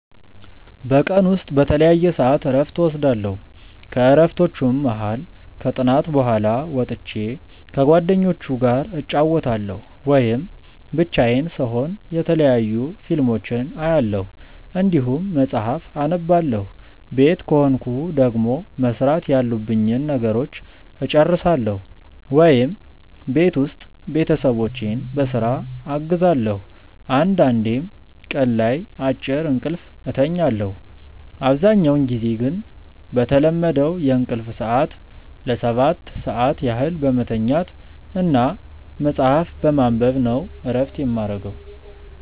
በቀን ውስጥ በተለያየ ሰዐት እረፍት እወስዳለሁ። ከእረፍቶቹም መሀል ከጥናት በኋላ ወጥቼ ከጓደኞቹ ጋር እጫወታለሁ ወይም ብቻዬን ስሆን የተለያዩ ፊልሞችን አያለሁ እንዲሁም መጽሐፍ አነባለሁ ቤት ከሆንኩ ደግሞ መስራት ያሉብኝን ነገሮች እጨርሳለሁ ወይም ቤት ውስጥ ቤተሰቦቼን በስራ አግዛለሁ አንዳንዴም ቀን ላይ አጭር እንቅልፍ እተኛለሁ። አብዛኛውን ጊዜ ግን በተለመደው የእንቅልፍ ሰዐት ለ7 ሰዓት ያህል በመተኛት እና መጽሀፍ በማንበብ ነው እረፍት የማረገው።